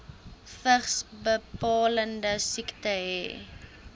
vigsbepalende siekte hê